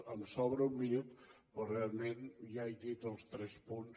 em sobra un minut però realment ja he dit els tres punts